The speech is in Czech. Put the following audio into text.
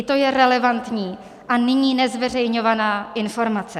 I to je relevantní a nyní nezveřejňovaná informace.